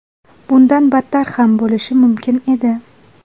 Bundan battar ham bo‘lishi mumkin edi.